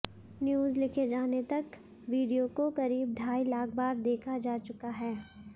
news लिखे जाने तक वीडियो को करीब ढाई लाख बार देखा जा चुका है